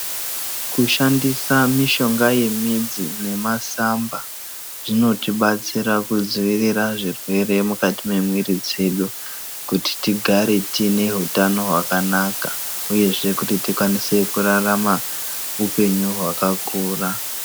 Kushandisa mushonga yemidzi nemasamba zvinotibatsira kudzivirira zvirwere mukati memuiri dzedu kuti tigare tine utano hwakanaka uye kuti rikwanise kurarama upenyu hwakakura.